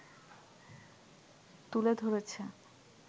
তুলে ধরেছে